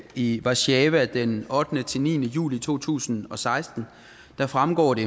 i warszawa den ottende ni juli to tusind og seksten fremgår det